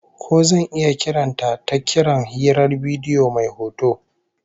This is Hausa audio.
Ko zan iya kiran ta ta kiran hirar bidiyo mai hoto?